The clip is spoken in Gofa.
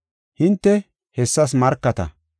Hinte hessas markata.